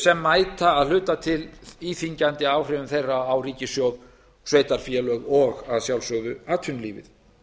sem mæta að hluta til íþyngjandi áhrifum þeirra á ríkissjóð sveitarfélög og að sjálfsögðu atvinnulífið